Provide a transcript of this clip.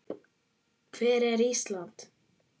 Hvar er Ísland?